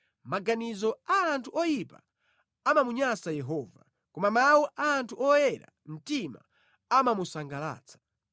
Maganizo a anthu oyipa amamunyansa Yehova, koma mawu a anthu oyera mtima amamusangalatsa.